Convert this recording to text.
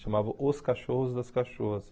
Chamava Os Cachorros das Cachorras.